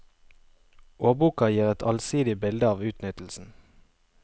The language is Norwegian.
Årboka gir et allsidig bilde av utnyttelsen.